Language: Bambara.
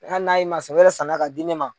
Hali n'a ye masɔn baara sɔrɔ la ka di ne ma.